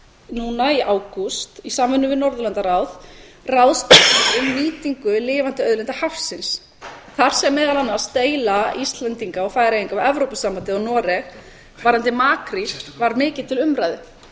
núna í ágúst í samvinnu við norðurlandaráð ráðstefnu um nýtingu lifandi auðlinda hafsins þar sem meðal annars deila íslendinga og færeyinga við evrópusambandið og noreg varðandi makríl var mikið til umræðu